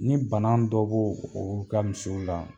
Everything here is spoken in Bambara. Ni bana dɔ b'o o ka misiw la